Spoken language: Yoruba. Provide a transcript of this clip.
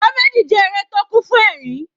Comedy jẹ́ eré tó kún fún ẹ̀rín.